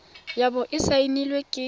ya bo e saenilwe ke